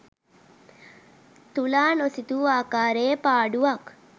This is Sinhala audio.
තුලා නොසිතූ ආකාරයේ පාඩුවක්